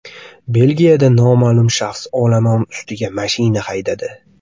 Belgiyada noma’lum shaxs olomon ustiga mashina haydadi.